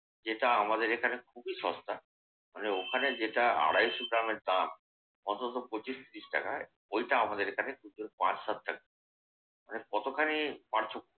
যেটা আমাদের এখানে খুবই সস্তা। মানে ওখানে যেটা আড়াইশ গ্রামের দাম অন্তত পঁচিশ ত্রিশ টাকায় ওইটা আমাদের এখানে পাঁচ সাত টাকা। মানে কতখানি পার্থক্য।